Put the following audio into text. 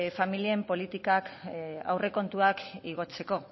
familien politikak aurrekontuak igotzeko